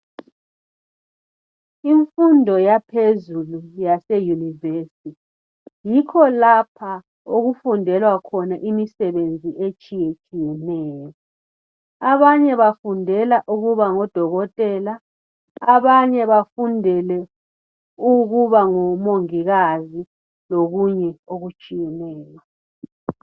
Imfundo yaphezulu yase university yikho lapha okufundelwa khona imsebenzi etshiyetshiyeneyo abanye bafundela ukubangodotela abanye bafundele ukuba ngomongikazi lokunye okutshiyeneyo